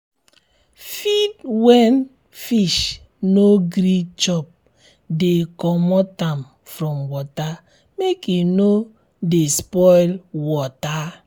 feed wen fish no gree chop de comot am from water make e no de spoil um water